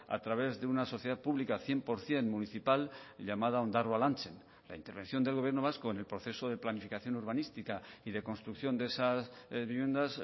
a través de una sociedad pública cien por ciento municipal llamada ondarroa lantzen la intervención del gobierno vasco en el proceso de planificación urbanística y de construcción de esas viviendas